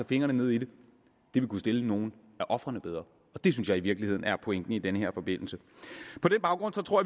fingrene nede i det kunne stille nogle af ofrene bedre og det synes jeg i virkeligheden er pointen i den her forbindelse på den baggrund tror